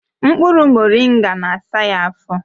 Mkpụrụ moringa na-asa ya afọ